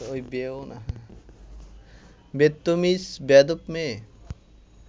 বেত্তমিজ বেয়াদ্দপ মেয়ে